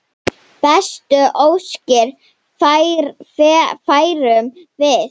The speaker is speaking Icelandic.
Bestu óskir færum við.